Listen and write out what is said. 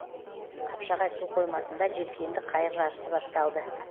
қапшағай су қоймасында желкенді қайық жарысы басталды